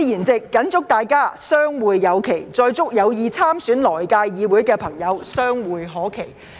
在此，我謹祝大家相會有期，並祝有意參選來屆議會的朋友，相會可期。